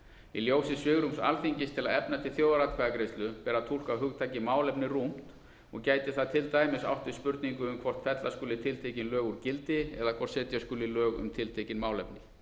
í ljósi svigrúms alþingis til að efna til þjóðaratkvæðagreiðslu ber að túlka hugtakið málefni rúmt og gæti það til dæmis átt við spurningu um hvort fella skuli tiltekin lög úr gildi eða hvort setja skuli lög um tiltekin málefni